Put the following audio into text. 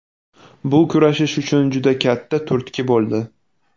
Bu kurashish uchun juda katta turtki bo‘ldi.